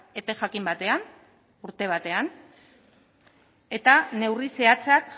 epe jakin batean urte batean eta neurri zehatzak